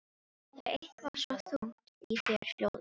Það er eitthvað svo þungt í þér hljóðið.